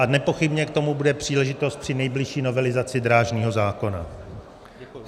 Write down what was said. A nepochybně k tomu bude příležitost při nejbližší novelizaci drážního zákona.